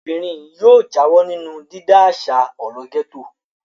Ọmọbìnrin yóò yóò jáwọ́ nínú dídá àṣà ọ̀rọ̀ gẹ́tò.